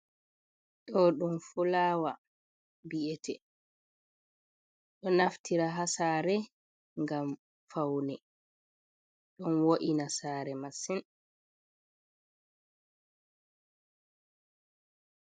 Ɗo ɗum fulawa bi'ete, ɗo naftira ha sare gam faune ɗon wo’ina sare masin.